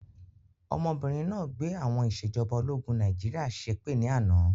Ọmọbìnrin náà gbé àwọn ìsèjọba ológun Nàìjíríà ṣépè ni àná